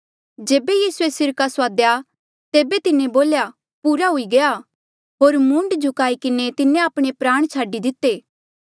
जेबे यीसूए सिरका सुआदेया तेबे तिन्हें बोल्या पूरा हुई गया होर मूंड झुकाई किन्हें तिन्हें आपणे प्राण छाडी दिते